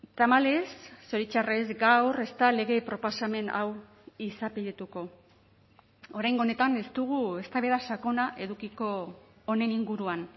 tamalez zoritxarrez gaur ez da lege proposamen hau izapidetuko oraingo honetan ez dugu eztabaida sakona edukiko honen inguruan